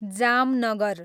Jamnagar